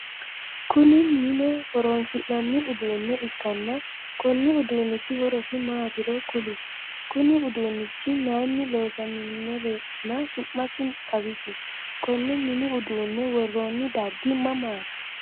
Kunni mine horoonsi'nanni uduune ikanna konni uduunniti horosi maatiro kuli? Kunni uduunichi mayinni loosamanironna su'masi xawisi? Konne minni uduune woroonni dargi mamaati?